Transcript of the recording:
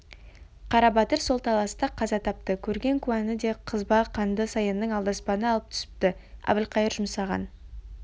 қарабатыр сол таласта қаза тапты көрген куәні де қызба қанды саянның алдаспаны алып түсіпті әбілқайыр жұмсаған